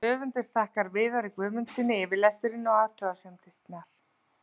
Höfundur þakkar Viðari Guðmundssyni yfirlestur og athugasemdir.